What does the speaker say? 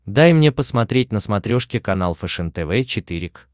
дай мне посмотреть на смотрешке канал фэшен тв четыре к